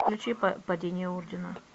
включи падение ордена